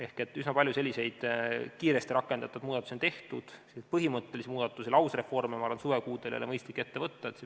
Ehk on tehtud üsna palju selliseid kiiresti rakendatavaid muudatusi, kuid mingeid põhimõttelisi muudatusi ega lausreforme ei ole minu arvates suvekuudel mõistlik ette võtta.